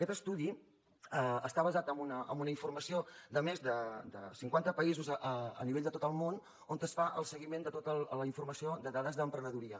aquest estudi està basat en una informació de més de cinquanta països a nivell de tot el món on es fa el seguiment de tota la informació de dades d’emprenedoria